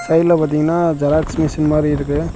சைடுல பாத்தீங்ன்னா xerox machine மாரி இருக்கு.